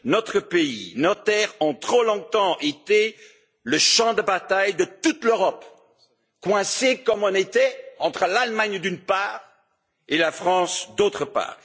Notre pays, nos terres ont trop longtemps été le champ de bataille de toute l'Europe, coincés comme nous l'étions entre l'Allemagne d'une part, et la France d'autre part.